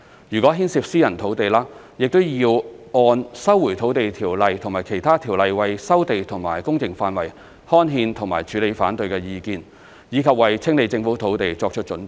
如果牽涉私人土地，亦要按《收回土地條例》和其他條例為收地和工程範圍刊憲和處理反對意見，以及為清理政府土地作出預備。